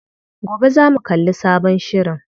Gobe zamu kalli sabon shirin.